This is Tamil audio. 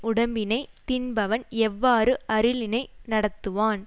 உடம்பினைத் தின்பவன் எவ்வாறு அருளினை நடத்துவான்